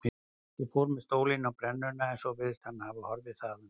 Ég fór með stólinn á brennuna en svo virðist hann hafa horfið þaðan.